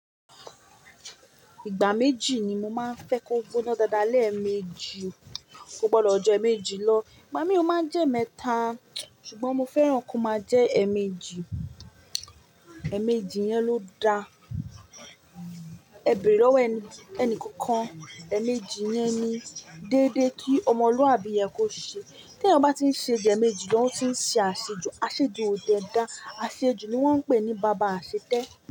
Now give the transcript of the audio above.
Ìgbà méjì ni mo máa ń fẹ́ kó gbóná dáadáa, lẹ̀mẹjì kó gbọ́dọ̀ ju ẹ̀ẹ̀mẹjì lọ. Ìgbà mí ò máa ń jẹ́ emẹ́ta, ṣùgbọ́n mo fẹ́ràn kí ó máa jẹ́ ẹ̀ẹ̀mẹjì. Ẹ̀ẹ̀mẹjì yẹn ló da. E bere lowo ẹni enikookan ẹ̀ẹ̀mẹjì yẹn ni dédé kí ọmọlúàbí yẹ kó ṣe. Teyan ba n ti se ju eemeji lo o n ti se aseju. Àṣejù ò dẹ dá. Àṣejù ni wọ́n ń pè ní bàbá àṣetẹ́.